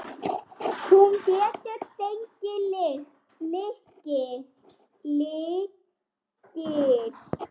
Hún getur fengið lykil.